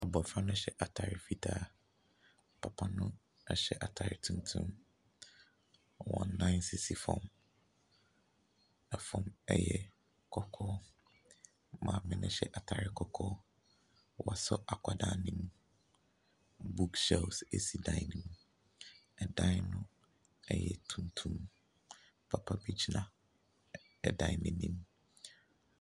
Abɔfra no hyɛ ataare fitaa, papa no hyɛ ataare tuntum, wɔn nan sisi fam, fam yɛ kɔkɔɔ. Maame no hyɛ ataare kɔkɔɔ, wasɔ akwadaa ne mu, book shelf si dan ne mu, dan no yɛ tuntum, papa bi gyina dan n’anim.